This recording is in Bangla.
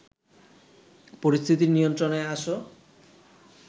পরিস্থিতি নিয়ন্ত্রণে আস